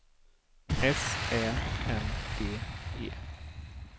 S Ä N D E